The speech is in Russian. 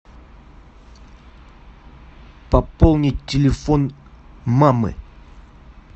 пополнить телефон мамы